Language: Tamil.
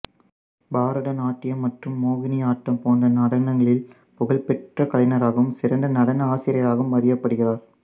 பரதநாட்டியம் மற்றும் மோகினியாட்டம் போன்ற நடனங்களில் புகழ்பெற்ற கலைஞராகவும் சிறந்த நடன ஆசிரியராகவும் அறியப்படுகிறார்